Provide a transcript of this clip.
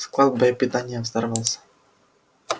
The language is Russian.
склад боепитания взорвался